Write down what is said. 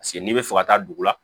Paseke n'i bɛ fɛ ka taa dugu la